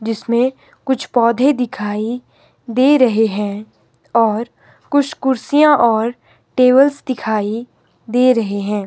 जिसमें कुछ पौधे दिखाई दे रहे हैं और कुछ कुर्सियां और टेबल्स दिखाई दे रहे हैं।